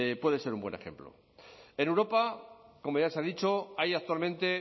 puede ser un buen ejemplo en europa como ya se ha dicho hay actualmente